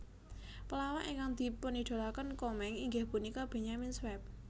Pelawak ingkang dipunidolakaken Komeng inggih punika Benyamin Sueb